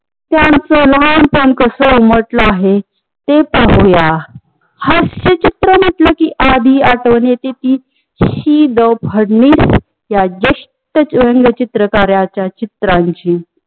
त्याचं लहानपण कस उमटलं आहे ते पाहूया. हास्य चित्र म्हंटल कि आदी आठवण येत कि ज्येष्ठ व्यंग्य चित्रकारांचा चित्राची